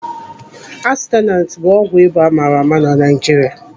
Atensuneti bụ ọgwụ ịba amaara ama na Naijiria.